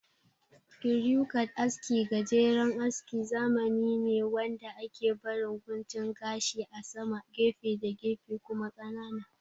Kiriyu kat aski gajeren askin zamani ne wanda ake barin guntun gashi a sama, gefe da gefe kuma ƙanana